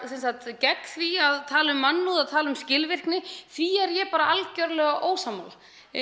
gegn því að tala um mannúð að tala um skilvirkni því er ég bara algjörlega ósammála